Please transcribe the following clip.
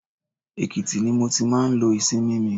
Èkìtì ni mo ti máa ń lo ìsinmi mi.